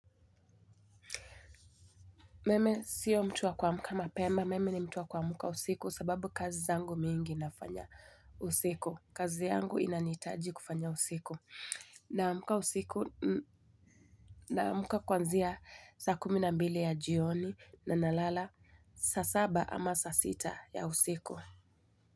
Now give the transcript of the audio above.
Mimi sio mtu wa kuamka mapema. Mimi ni mtu wa kuamka usiku sababu kazi zangu mingi nafanya usiku. Kazi yangu inanihitaji kufanya usiku. Ninaamka usiku, ninaamuka kuanzia saa kumi na mbili ya jioni na ninalala saa saba ama saa sita ya usiku.